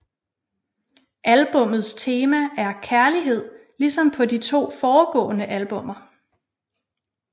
Albummets tema er kærlighed ligesom på de to forgående albummer